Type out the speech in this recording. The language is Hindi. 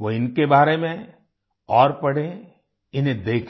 वो इनके बारे में और पढ़ें इन्हें देखने जाएँ